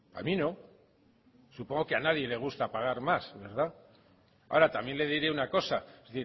a mí no supongo que a nadie le gusta pagar más verdad ahora también le diré una cosa es